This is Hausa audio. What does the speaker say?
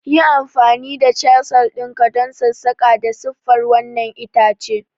Yi amfani da chisel ɗin ka don sassaƙa da siffar wannan itace!